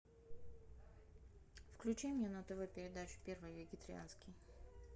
включи мне на тв передачу первый вегетарианский